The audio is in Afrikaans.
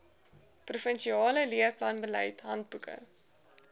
provinsiale leerplanbeleid handboeke